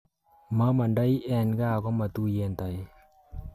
Momondoi en gaa ako motuyen toek